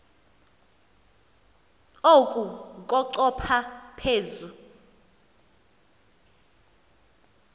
oku kochopha phezu